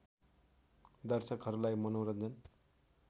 दर्शकहरूलाई मनोरन्जन